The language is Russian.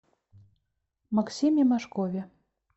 максиме мошкове